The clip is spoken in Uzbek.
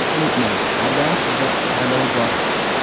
Unutmang, har doim sizda tanlov bor.